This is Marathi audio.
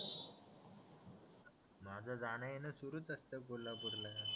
माझं जाणं येणं सुरूच असतं कोल्हापूरला